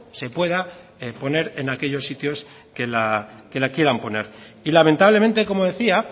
se pueda poner en aquellos sitios que la quieran poner y lamentablemente como decía